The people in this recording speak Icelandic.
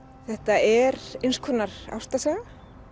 þetta er einskonar ástarsaga